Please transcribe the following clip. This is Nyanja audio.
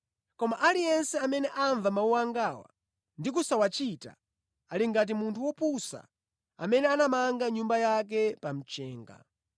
Koma aliyense amene amva mawu angawa ndi kusawachita ali ngati munthu wopusa amene anamanga nyumba yake pa mchenga.